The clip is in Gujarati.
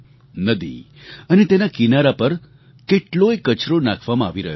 નદી અને તેના કિનારા પર કેટલોય કચરો નાખવામાં આવી રહ્યો હતો